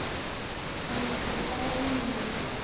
Það var þá bara Lúlli.